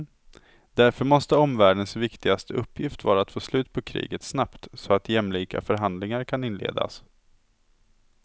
Därför måste omvärldens viktigaste uppgift vara att få slut på kriget snabbt, så att jämlika förhandlingar kan inledas.